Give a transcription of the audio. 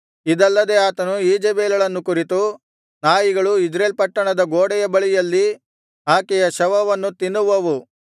ಇದಲ್ಲದೆ ಆತನು ಈಜೆಬೆಲಳನ್ನು ಕುರಿತು ನಾಯಿಗಳು ಇಜ್ರೇಲ್ ಪಟ್ಟಣದ ಗೋಡೆಯ ಬಳಿಯಲ್ಲಿ ಆಕೆಯ ಶವವನ್ನು ತಿನ್ನುವವು